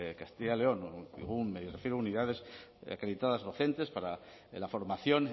castilla y león me refiero a unidades acreditadas docentes para la formación